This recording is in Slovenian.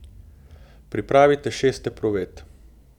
Pripravite šest epruvet.